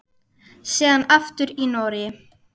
Síðan aftur í Noregi.